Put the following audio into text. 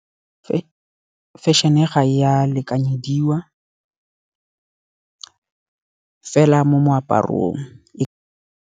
Fashion-e ga ya lekanyediwa fela mo moaparong.